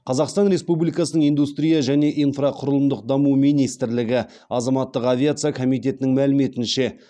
қазақстан республикасының индустрия және инфрақұрылымдық даму министрлігі азаматтық авиация комитетінің мәліметінше